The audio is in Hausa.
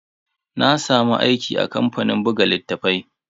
Na samu aiki a kamfanin buga littatafai.